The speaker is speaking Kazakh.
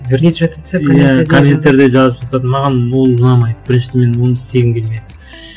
иә комменттерді жазып жатады маған ол ұнамайды біріншіден мен оны істегім келмейді